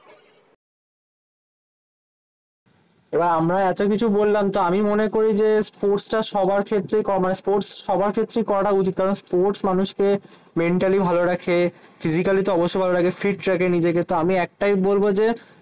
এবার আমরা এত কিছু বললাম তো আমি মনে করি যে, স্পোর্টস টা সবার ক্ষেত্রেই স্পোর্টস সবার ক্ষেত্রেই করাটা উচিত। কারণ স্পোর্টস মানুষকে মেন্টালি ভালো রাখে ফিজিক্যালি তো অবশ্যই ভালো রাখে ফিট রাখে নিজেকে। তো আমি একটাই বলবো যে,